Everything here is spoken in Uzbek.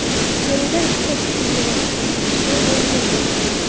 Peruda ikkita kuchli yerosti silkinishi ro‘y berdi.